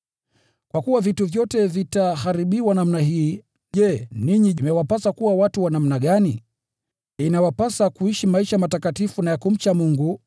Kwa kuwa vitu vyote vitaharibiwa namna hii, je, ninyi imewapasa kuwa watu wa namna gani? Inawapasa kuishi maisha matakatifu na ya kumcha Mungu,